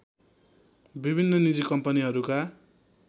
विभिन्न निजी कम्पनीहरूका